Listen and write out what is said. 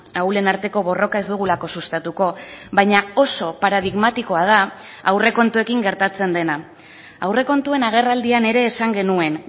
ahulen arteko borroka ez dugulako sustatuko baina oso paradigmatikoa da aurrekontuekin gertatzen dena aurrekontuen agerraldian ere esan genuen